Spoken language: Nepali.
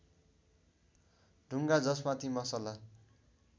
ढुङ्गा जसमाथि मसला